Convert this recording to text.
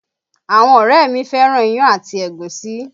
Àwọn ọ̀rẹ́ mi fẹ́ràn iyán àti ẹ̀gúsí